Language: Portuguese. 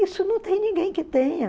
Isso não tem ninguém que tenha.